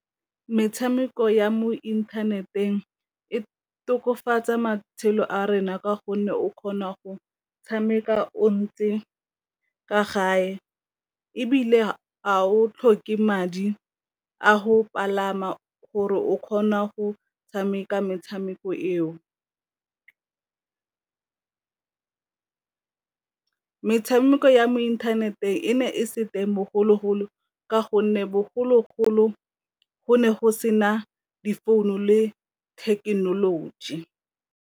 Metshameko ya mo inthaneteng e tokafatsa matshelo a rona ka gonne o kgona go tshameka o ntse kwa gae ebile a o tlhoke madi a go palama gore o kgona go tshameka metshameko eo, metshameko ya mo inthaneteng e ne e se teng bogologolo ka gonne bogologolo go ne go sena di founu le thekenoloji.